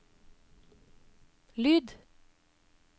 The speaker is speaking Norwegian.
lyd